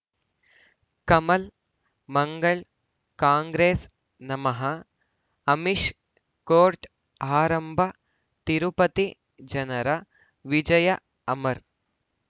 ಕಮಲ್ ಮಂಗಳ್ ಕಾಂಗ್ರೆಸ್ ನಮಃ ಅಮಿಷ್ ಕೋರ್ಟ್ ಆರಂಭ ತಿರುಪತಿ ಜನರ ವಿಜಯ ಅಮರ್